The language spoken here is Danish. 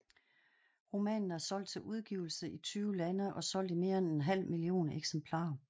Romanen er solgt til udgivelse i tyve lande og solgt i mere end en halv million eksemplarer